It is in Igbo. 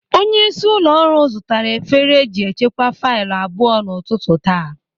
Onyeisi ụlọ ọrụ zụtara efere eji echekwa faịlụ abụọ n'ụtụtụ taa.